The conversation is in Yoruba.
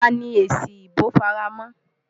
Ta ni èsì ìbò fara mọ́?